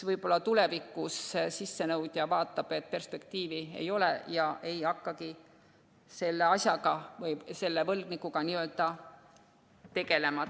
Võib-olla tulevikus sissenõudja vaatab, et perspektiivi ei ole ja ta ei hakkagi selle asjaga või selle võlgnikuga tegelema.